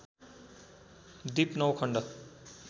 दिप नौ खण्ड